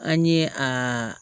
An ye a